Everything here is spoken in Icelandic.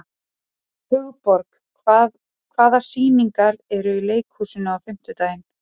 Hugborg, hvaða sýningar eru í leikhúsinu á fimmtudaginn?